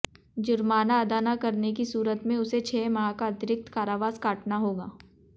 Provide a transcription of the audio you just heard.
जुर्माना अदा न करने की सूरत में उसे छह माह का अतिरिक्त कारावास काटना होगा